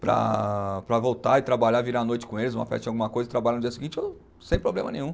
Para, para voltar e trabalhar, virar a noite com eles, uma festa de alguma coisa, e trabalhar no dia seguinte eu, sem problema nenhum.